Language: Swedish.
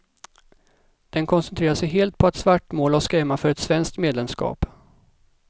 Den koncentrerar sig helt på att svartmåla och skrämma för ett svenskt medlemskap.